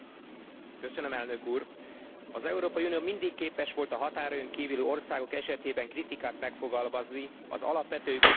Az Európai Unió mindig képes volt a határain kívüli országok esetében kritikát megfogalmazni az alapvető jogok tiszteletben tarásának érdekében.